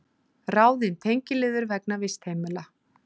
Ráðin tengiliður vegna vistheimila